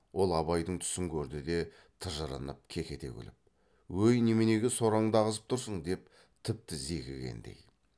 ол абайдың түсін көрді де тыжырынып кекете күліп өй неменеге сораңды ағызып тұрсың деп тіпті зекігендей